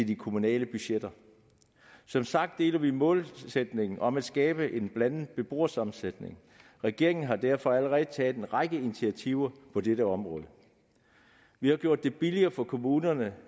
de kommunale budgetter som sagt deler vi målsætningen om at skabe en blandet beboersammensætning regeringen har derfor allerede taget en række initiativer på dette område vi har gjort det billigere for kommunerne